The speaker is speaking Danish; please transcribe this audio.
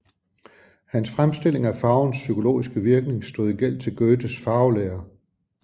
Hans fremstilling af farvens psykologiske virkning stod i gæld til Goethes farvelære